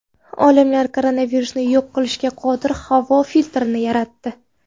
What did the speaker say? Olimlar koronavirusni yo‘q qilishga qodir havo filtrini yaratdi.